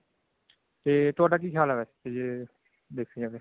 ਤੁਹਾਡਾ ਕੀ ਖਿਆਲ ਵੈਸੇ ਜੇ ਦੇਖਿਆ ਜਾਵੇ ਤਾਂ